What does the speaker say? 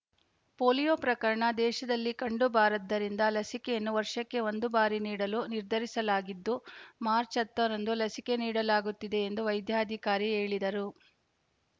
polio ಪ್ರಕರಣ ದೇಶದಲ್ಲಿ ಕಂಡು ಬಾರದ್ದರಿಂದ ಲಸಿಕೆಯನ್ನು ವರ್ಷಕ್ಕೆ ಒಂದು ಬಾರಿ ನೀಡಲು ನಿರ್ಧರಿಸಲಾಗಿದ್ದು ಮಾರ್ಚ್ ಹತ್ತರಂದು ಲಸಿಕೆ ನೀಡಲಾಗುತ್ತಿದೆ ಎಂದು ವೈದ್ಯಾಧಿಕಾರಿ ಹೇಳಿದರು